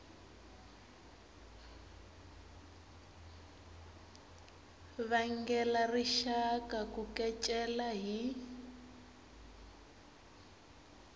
vangela rixaka ku kecela hi